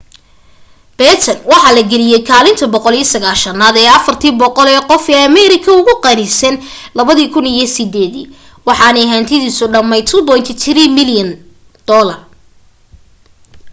batten waxa la geliyay kaalinta 190aad ee 400 ee qof ee ameerika ugu qanisan 2008 dii waxaanu hantidiisu dhammayd $2.3 bilyan